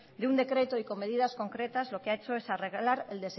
de un decreto y con medidas concretas lo que ha hecho es arreglar el